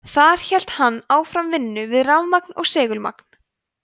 þar hélt hann áfram vinnu við rafmagn og segulmagn